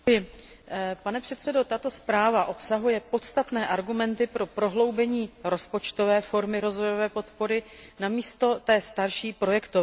Pane předsedající, tato zpráva obsahuje podstatné argumenty pro prohloubení rozpočtové formy rozvojové podpory, namísto té starší projektové formy.